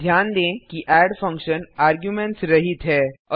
ध्यान दें कि एड फंक्शन आर्गुमेंट्स रहित है